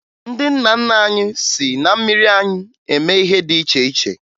Ndị nna nna anyị si na mmiri anyịm eme ihe dị iche iche